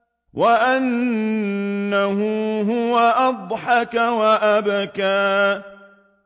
وَأَنَّهُ هُوَ أَضْحَكَ وَأَبْكَىٰ